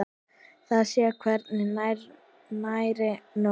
Það sé hvergi nærri nóg.